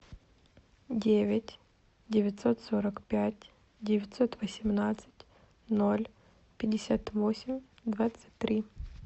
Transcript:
девять девятьсот сорок пять девятьсот восемнадцать ноль пятьдесят восемь двадцать три